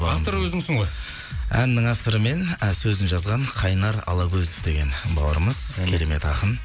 авторы өзіңсің ғой әннің авторы мен сөзін жазған қайнар алагөзов деген бауырымыз керемет ақын